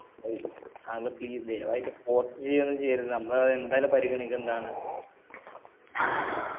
അത് uncle ളേ please ദയവായിട്ട് port ചെയ്യുന്നും ചെയ്യരുത് നമ്മളത് എന്തായാലും പരിഗണിക്കുന്നതാണ്. ഏർ